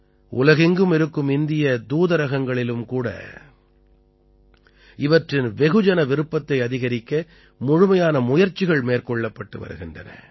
உலகெங்கும் இருக்கும் இந்திய த்தூதரகங்களிலும் கூட இவற்றின் வெகுஜனவிருப்பத்தை அதிகரிக்க முழுமையான முயற்சிகள் மேற்கொள்ளப்பட்டு வருகின்றன